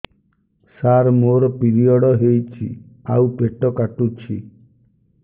ସାର ମୋର ପିରିଅଡ଼ ହେଇଚି ଆଉ ପେଟ କାଟୁଛି